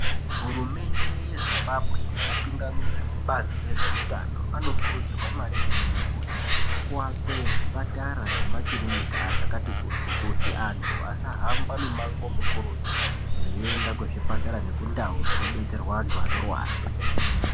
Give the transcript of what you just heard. Hurumende yeZimbabwe nevatungamiriri ekubazi rezveutano, anokurudzirwa maningi kuti kuwakwe zvipatara nemakirinika zvakati kuti, kuti antu asahamba mimango mukurutu veienda kuzvipatara nekundau dzinobetserwa antu anorwara.